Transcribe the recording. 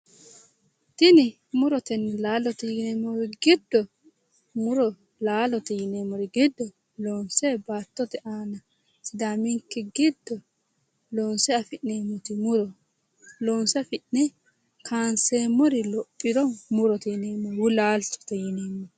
Tini murotenna laalote yineemmori giddo loonse baattote aana sidaaminke giddo loonse afi'neemmoti muro loonse afi'ne kanseemmori lophiro murote yineemmo woyi laalchote yineemmo